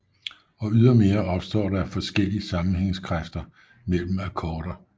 Og ydermere opstår der forskellig sammenhængskræfter mellem akkorder